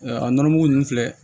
a nɔnɔmugu ninnu filɛ